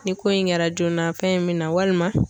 Ni ko in kɛra joona fɛn in min na walima